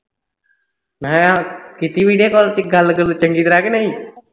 ਮੈਂ ਕਿਹਾ ਕੀਤੀ video call ਗੱਲ ਗੁੱਲ ਚੰਗੀ ਤਰ੍ਹਾਂ ਕੇ ਨਹੀਂ